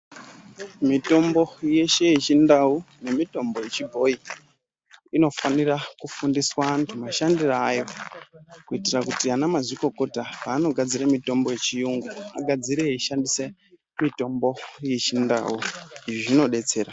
Mitombo yeshe yechindau nemitombo yechibhoyi inofanira kufundiswa antu mashandire ayo kuitira kuti ana mazvikokota panogadzire mitombo yechiyungu agadzire eishandise mitombo yechindau. Izvi zvinodetsera.